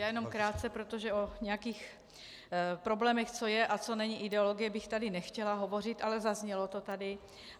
Já jenom krátce, protože o nějakých problémech, co je a co není ideologie, bych tady nechtěla hovořit, ale zaznělo to tady.